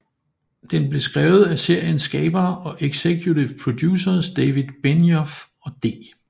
Den blev skrevet af seriens skabere og executive producers David Benioff og D